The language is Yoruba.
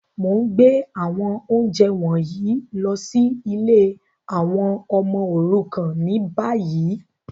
Mo n gbé àwọn ounjẹ wọ̀nyí lọ si ìlé àwon ọmọ òrukàn ni bayi.